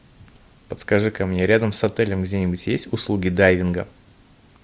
подскажи ка мне рядом с отелем где нибудь есть услуги дайвинга